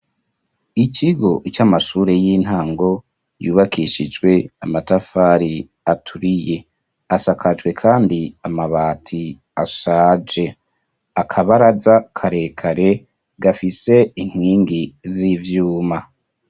Ikigo c'amashure y'intango yubakishijwe amatafari aturiye. Asakajwe kandi amabati ashaje. Akabaraza karekare gafise inkingi z'ivyuma.